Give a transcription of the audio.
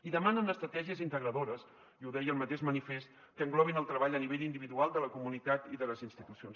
i demanen estratègies integradores i ho deia el mateix manifest que englobin el treball a nivell individual de la comunitat i de les institucions